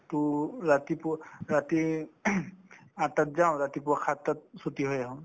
to ৰাতিপুৱা ৰাতি আঠটাত যাওঁ ৰাতিপুৱা সাতটাত ছুটী হৈ আহো